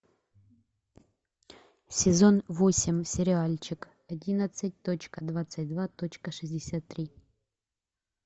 сезон восемь сериальчик одиннадцать точка двадцать два точка шестьдесят три